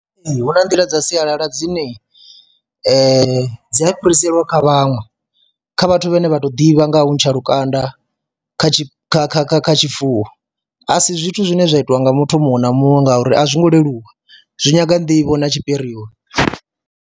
Ee, hu na nḓila dza sialala dzine dzi a fhiriselwa kha vhaṅwe, kha vhathu vhane vha to ḓivha nga ha u ntsha lukanda kha kha kha kha kha tshifuwo, a si zwithu zwine zwa itiwa nga muthu muṅwe na muṅwe ngauri a zwo ngo leluwa, zwi nyanga nḓivho na tshipirioni.